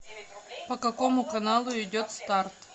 по какому каналу идет старт